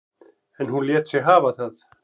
En hún lét sig hafa það.